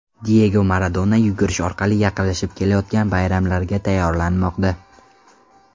Diyego Maradona yugurish orqali yaqinlashib kelayotgan bayramlarga tayyorlanmoqda .